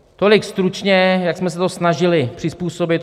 Tolik stručně, jak jsme se to snažili přizpůsobit.